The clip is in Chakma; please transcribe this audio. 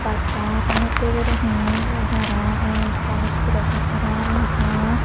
bassan olottey gurinei yot araw ektal iskulo satro lammon.